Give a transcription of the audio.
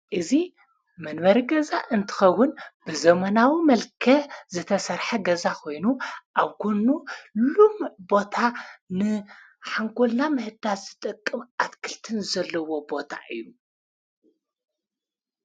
እዙ መንበሪ ገዛ እንትኸዉን ብዘመናዊ መልከዕ ዘተሠርሐ ገዛ ኾይኑ ኣብ ጐኑ ሉሙዕ ቦታ ንሓንጎልና ምህዳስ ዝጠቅም ኣትክልትን ዘለዎ ቦታ እዩ።